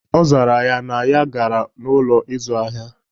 Ọ zara ya, na ya gara n'Ụlọ ịzụ ahịa